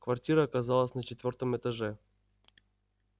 квартира оказалась на четвёртом этаже